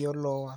yo Lowa.